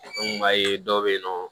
An kun b'a ye dɔw bɛ yen nɔ